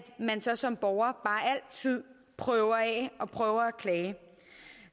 man så som borger bare altid prøver systemet af og prøver at klage